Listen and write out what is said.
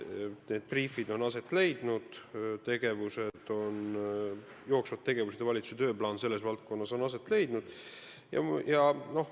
Need briifid on aset leidnud, jooksvad tegevused ja valitsuse tööplaan selles valdkonnas on olemas.